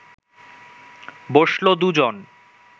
বসল দু’জন